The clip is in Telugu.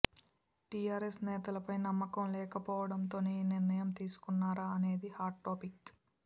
టీఆర్ఎస్ నేతలపై నమ్మకం లేకపోవడంతోనే ఈ నిర్ణయం తీసుకున్నారా అనేది హాట్ టాపిక్